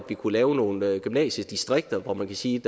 vi kunne lave nogle gymnasiedistrikter hvor man kan sige